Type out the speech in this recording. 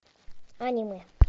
аниме